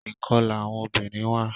ikọla àwọn obìrin wa.